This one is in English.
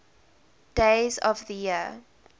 days of the year